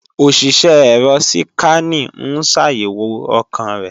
Òṣìṣẹ́ ẹ̀rọ síkànì ń ṣàyẹ̀wò ọkàn rẹ̀